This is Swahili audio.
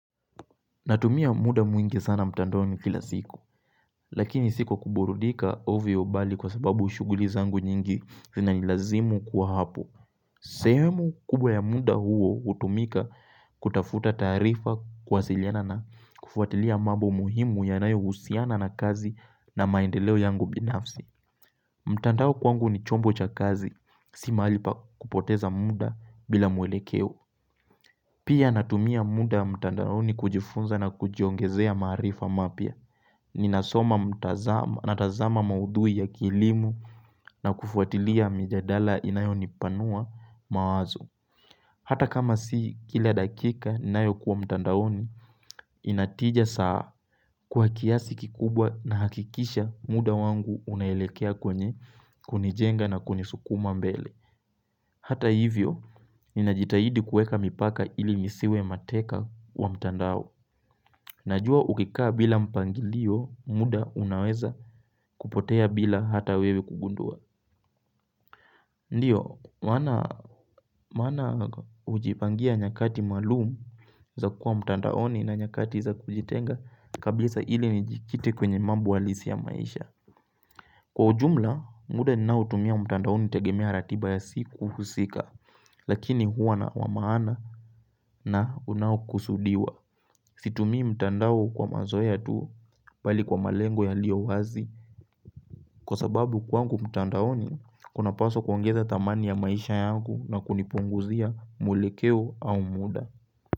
Natumia muda mwingi sana mtandaoni kila siku, lakini sikuwaburudika ovyo bali kwa sababu shuguli zangu nyingi zina nilazimu kwa hapo. Sehemu kubwa ya muda huo utumika kutafuta taarifa kuwasiliana na kufuatilia mambo muhimu yanayo husiana na kazi na maendeleo yangu binafsi. Mtandao ni kwangu ni chombo cha kazi, si maali pa kupoteza muda bila muelekeo. Pia natumia muda mtandaoni kujifunza na kujiongezea maarifa mapya. Ninasoma natazama maudhui ya kilimo na kufuatilia mijadala inayo nipanua mawazo. Hata kama si kila dakika ninayo kuwa mtandaoni, inatija saa kwa kiasi kikubwa na hakikisha muda wangu unaelekea kwenye kunijenga na kunisukuma mbele. Hata hivyo, inajitahidi kueka mipaka ili nisiwe mateka wa mtandao. Najua ukikaa bila mpangilio, muda unaweza kupotea bila hata wewe kugundua. Ndiyo, maana ujipangia nyakati maalumu za kuwa mtandaoni na nyakati za kujitenga kabisa ili ni jikite kwenye mambo alisi ya maisha. Kwa ujumla, muda NInao tumia mtandaoni utegemea ratiba ya siku usika, lakini huwa na wamaana na unaokusudiwa. Situmii mtandao kwa mazoea ya tu mbali kwa malengo ya liyo wazi Kwa sababu kwangu mtandaoni kuna paswa kuongeza thamani ya maisha yangu na kunipunguzia mwelekeo au muda.